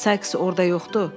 Sayks orda yoxdu?